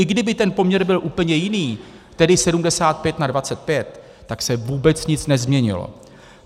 I kdyby ten poměr byl úplně jiný, tedy 75 na 25, tak se vůbec nic nezměnilo.